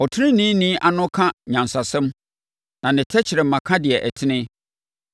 Ɔteneneeni ano ka nyansasɛm, na ne tɛkrɛma ka deɛ ɛtene.